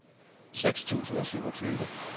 seks tusind og syvogtyve